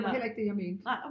Det var heller ikke det jeg mente